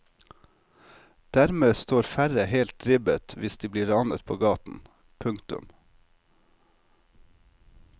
Dermed står færre helt ribbet hvis de blir ranet på gaten. punktum